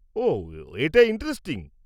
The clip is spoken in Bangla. -ওহ, এটা ইন্টারেস্টিং।